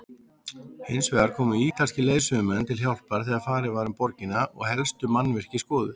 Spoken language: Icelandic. Hinsvegar komu ítalskir leiðsögumenn til hjálpar þegar farið var um borgina og helstu mannvirki skoðuð.